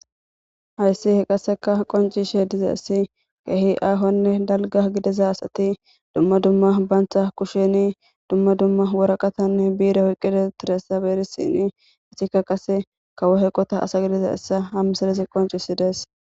hayssi he qasseka qoncishe diza essi kehi aahonne dalga gidiza asati dumma dumma bantha kusheni dumma dumma woraqatanne biire hoyqqide tiressa beerisini isikka qase kawo heqota asa gidiza hessa hammisalizi qoncisidees